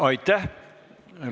Aitäh!